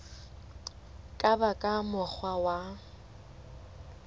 ka ba ka mokgwa wa